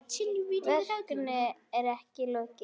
Verkinu er ekki lokið.